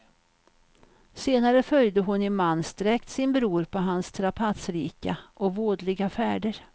Senare följde hon i mansdräkt sin bror på hans strapatsrika och vådliga färder.